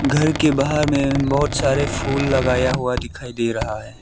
घर के बाहर में बहोत सारे फूल लगाया हुआ दिखाई दे रहा है।